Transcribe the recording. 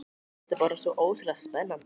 Mér fannst þetta bara svo ótrúlega spennandi.